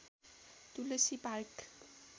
Tulsi park